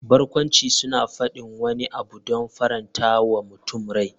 Barkwanci suna faɗin wani abu don faranta wa mutum rai.